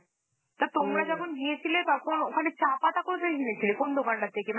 তা তোমরা যখন গিয়েছিলে, তখন ওখানে চা পাতা কোথা থেকে কিনেছিলে? কোন দোকান থেকে?